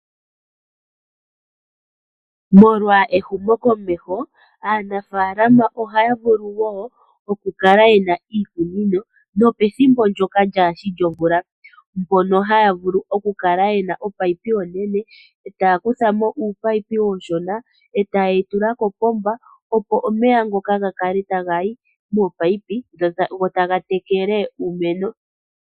Molwa ehumokomeho aanafalama ohaya vulu wo okukala yena iikunino nopethimbo ndyoka lyaashi lyomvula. Mpono haya vulu okukala yena ominino ominene etaya kutha uunino uushona etaye wu tula kopomba, opo omeya ngoka gakale taga yi mominino go taga tekele uumeno